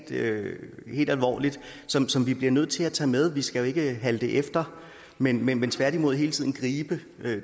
alvorligt som som vi bliver nødt til at tage med vi skal ikke halte efter men men tværtimod hele tiden gribe